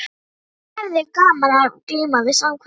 Ég hefi gaman af að glíma við samhverfu.